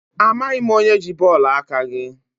Amaghị m onye ji bọọlụ aka gị.